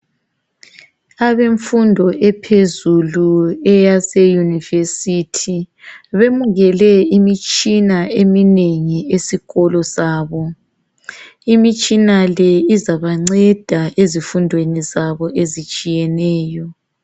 Abemfundo ephezulu eyaseyunivesithi, bemukele imitshina eminengi esikolo sabo. Imitshina le izabanceda ezifundweni zabo ezitshiyeneyo.